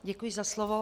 Děkuji za slovo.